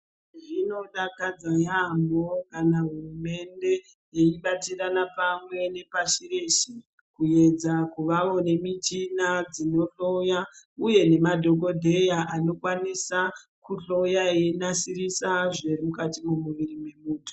Zvinodakadza yaamho kana hurumende yeibatirana pamwe nepashi reshe kuedza kuvawo nemichina dzinohloya uye nemadhokodheya anokwanisa kuhloya einasirisa zvemukati mwemuviri wemuntu.